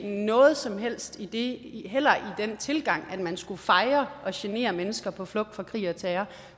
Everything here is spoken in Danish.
noget som helst i den tilgang at man fejrer at genere mennesker på flugt fra krig og terror